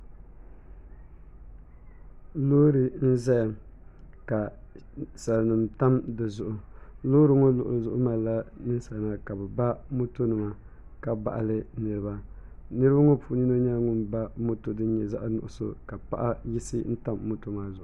lori n zaya ka sanim tam di zuɣ' lori ŋɔ zuɣiliɣu malila salinim ka bɛ ba moto nima ka baɣili niriba niriba ŋɔ puuni yino nyɛla ŋɔ ba moto din nyɛ zaɣinugisu la paɣ' yigisi tam moto maa zuɣ'